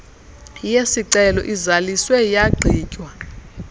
yesicelo izaliswe yagqitywa